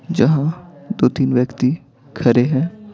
जहां दो-तीन व्यक्ति खड़े हैं।